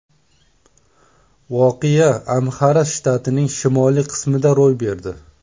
Voqea Amxara shtatining shimoliy qismida ro‘y berdi.